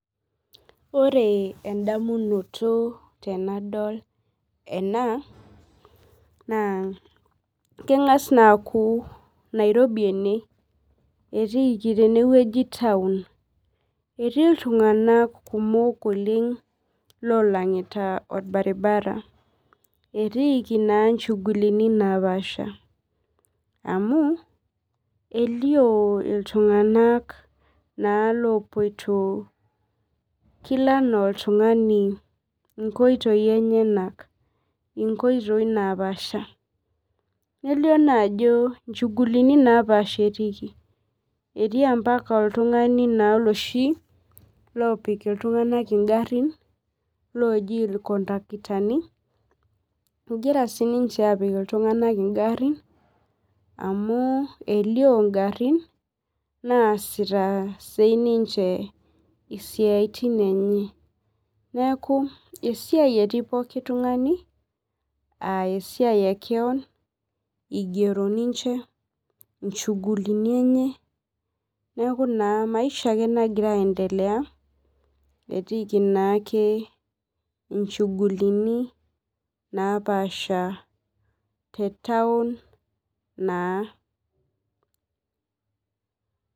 Ore endamunoto tenadol ena na kengas aaku nairobi ena amu ltunganak kumok oleng otii orbaribara etiiki na nchugulini napaasha amu elio ltunganak naa lopoito kila anaa oltungani nkoitoi enyenak nelio naa ajo inchugulini napaasha etiiki elio na ltunganak loshi opik ltunganak engari oji irkondaktani egira sinche apik ltunganak ingarin amu elio ngarin naasita siaitin enye esiaia etii oltungani esiai ekeon igero ninche nchugulini enye neaku maisha nagira aendelea etiiki nchugulini napaasha tetaun.